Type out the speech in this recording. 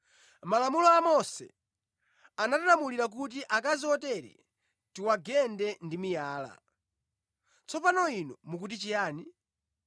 Mʼmalamulo a Mose anatilamulira kuti akazi otere tiwagende ndi miyala. Tsopano Inu mukuti chiyani?”